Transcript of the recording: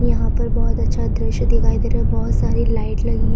यहाँ पर बहोत अच्छा दृश्य दिखाई दे रहा है बहोत सारी लाइट लगी है।